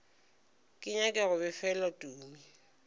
ke nyake go befelwa tumi